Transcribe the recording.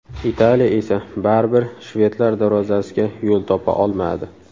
Italiya esa baribir shvedlar darvozasiga yo‘l topa olmadi.